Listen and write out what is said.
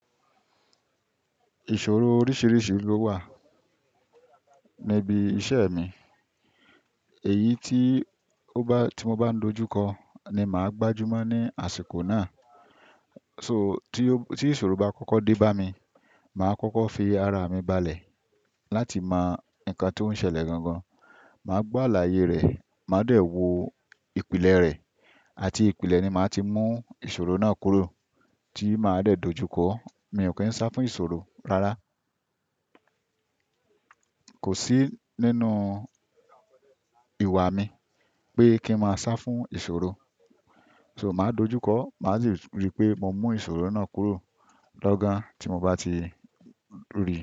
Ìṣòro oríṣiríṣi ló wà níbi iṣẹ́ mi. Èyí tí ó bá, tí mo bá dojú kọ ni màá gbájú mọ́ ní àsìkò náà. So tí ìṣòro bá kọ́kọ́ dé bá mi, màá kọ́kọ́ fi ara mi balẹ̀ láti mọ nǹkan tó ń ṣẹlẹ̀ gangan. Màá gbọ́ àlàyé rẹ̀, màá dẹ̀ wò ìpìlẹ̀ rẹ̀ àti ìpìlẹ̀ ni màá ti mú ìṣòro náà kúrò tí màá dẹ̀ dojú kọ. Mi ò kí ń sá fún ìṣòro rárá. Kò sí nínú ìwà mi pé kí n má sá fún ìṣòro. So màá dojú kọ, màá sì rí pé mo mú ìṣòro náà kúrò lọ́gán tí mo bá ti rí i.